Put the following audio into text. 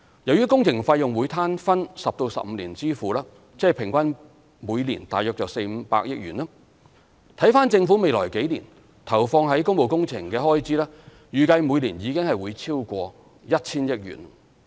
由於工程費用會攤分10至15年支付，即平均每年大約400億元至500億元，而政府未來數年投放於工務工程的開支預計每年已經會超過 1,000 億元。